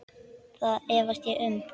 Það efast ég um.